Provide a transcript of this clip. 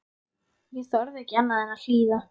Ég þorði ekki annað en að hlýða.